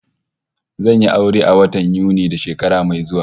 Zan yi aure a watan Yuni na shekara mai zuwa